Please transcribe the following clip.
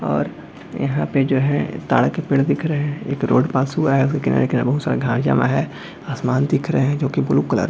और यहां पर जो हैजो तार के पेड़ दिख रहे है एक रोड पास हुआ है उसके किनारे-किनारे बहुत सारे घास जमा है आसमान दिख रहे है जो की ब्लू कलर --